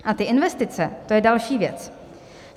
A ty investice, to je další věc.